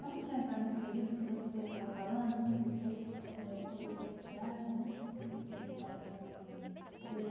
Vamos então entrar nesse período que você estava falando, que você escolheu a publicidade, né, que passou em três anos.